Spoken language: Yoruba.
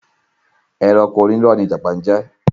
Ẹranko Oní iró ni ìjàpá jẹ́